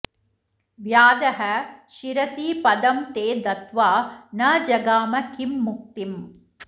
व्याधः शिरसि पदं ते दत्वा न जगाम किं मुक्तिम्